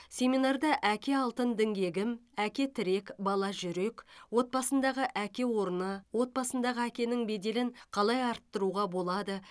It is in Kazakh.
семинарда әке алтын діңгегім әке тірек бала жүрек отбасындағы әке орны отбасындағы әкенің беделін қалай арттыруға болады